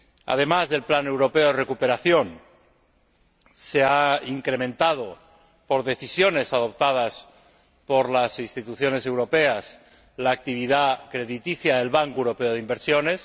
Además del Plan Europeo de Recuperación Económica, se ha incrementado, mediante decisiones adoptadas por las Instituciones europeas, la actividad crediticia del Banco Europeo de Inversiones.